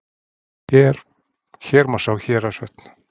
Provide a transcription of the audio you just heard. Hér má sjá Héraðsvötn.